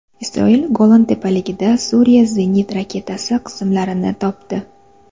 Isroil Golan tepaliklarida Suriya zenit raketasi qismlarini topdi.